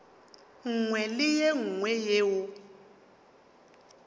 nngwe le ye nngwe yeo